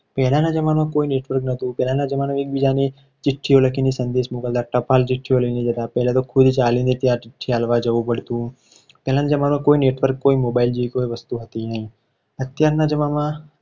પહેલાના જમાનામાં કોઈ network ન હતું. પહેલાના જમાનામાં એકબીજાને ચિઠ્ઠીઓ લખીને સંદેશ મોકલતા હતા. ટપાલ ચિઠ્ઠીઓ લઈને જતા પહેલા તો ખુદ ચાલીને ત્યાં ચિઠ્ઠી આપવા જવું પડતું પહેલાં તો જમાનામાં કોઈ network કોઈ mobile જેવી કોઈ વસ્તુ નથી. અત્યારના